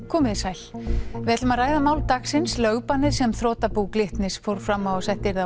komiði sæl við ætlum að ræða mál dagsins lögbannið sem þrotabú Glitnis fór fram á að sett yrði á